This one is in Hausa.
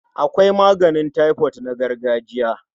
Akwai maganin taifot na gargajiya.